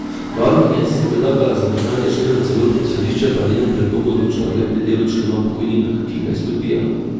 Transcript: Varuhinja je sicer predlagala zadržanje člena v celoti, sodišče pa je o njenem predlogu odločalo le pri delu člena o pokojninah, ki ga je izpodbijala.